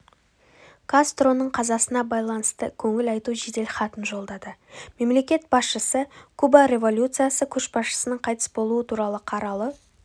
кастроның қазасына байланысты көңіл айту жеделхатын жолдады мемлекет басшысы куба революциясы көшбасшысыныңқайтыс болуы туралы қаралы